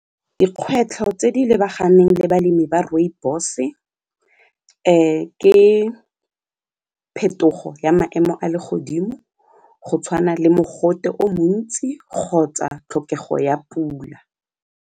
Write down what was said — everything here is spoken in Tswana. Dikgwetlho tse di lebaganeng le balemi ba rooibos-e ke phetogo ya maemo a legodimo go tshwana le mogote o montsi kgotsa tlhokego ya pula.